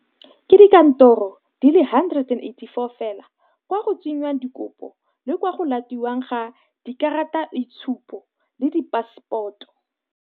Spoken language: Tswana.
Ke dikantoro di le 184 fela kwa go tsengwang dikopo le kwa go latiwang ga dikarataitshupo le dipaseporoto.